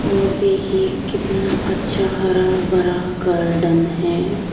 और देखिए कितना अच्छा हरा भरा गार्डन है।